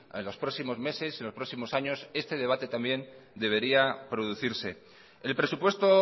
a los próximos meses en los próximos años este debate también debería producirse el presupuesto